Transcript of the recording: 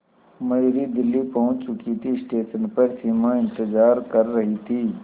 मयूरी दिल्ली पहुंच चुकी थी स्टेशन पर सिमा इंतेज़ार कर रही थी